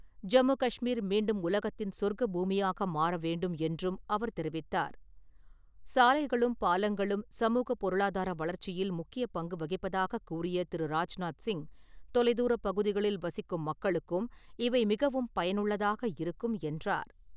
ஜம்மு காஷ்மீர் மீண்டும் உலகத்தின் சொர்க்க பூமியாக மாற வேண்டும் என்றும் அவர் தெரிவித்தார். சாலைகளும், பாலங்களும் சமூகப் பொருளாதார வளர்ச்சியில் முக்கியப் பங்கு வகிப்பதாகக் கூறிய திரு. ராஜ்நாத் சிங், தொலைதுாரப் பகுதிகளில் வசிக்கும் மக்களுக்கும் இவை மிகவும் பயனுள்ளதாக இருக்கும் என்றார்.